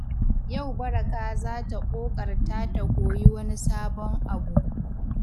Yau Baraka za ta ƙoƙarta ta koyi wani sabon abu.